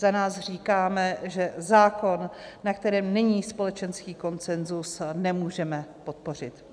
Za nás říkáme, že zákon, na kterém není společenský konsenzus, nemůžeme podpořit.